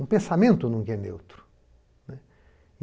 Um pensamento nunca é neutro, né.